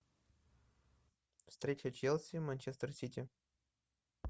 встреча челси манчестер сити